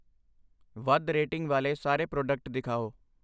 ਵੱਧ ਰੇਟਿੰਗ ਵਾਲੇ ਸਾਰੇ ਪ੍ਰੋਡਕਟ ਦਿਖਾਓ I